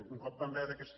un cop vam veure aquesta